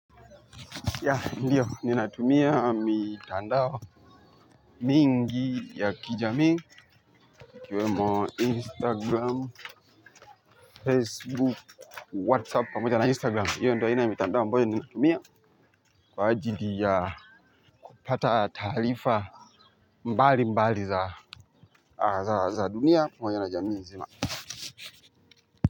Ndiyo ninatumia mitandao mingi ya kijamii ikiwemo Instagram Facebook Whatsapp pamoja na Instagram hiyo ndio aina ya mitandao ambayo ninaitumia kwa ajili ya kupata taarifa mbalimbali za za dunia pamoja na jamii nzima.